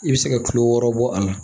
I bɛ se ka kilo wɔɔrɔ bɔ a la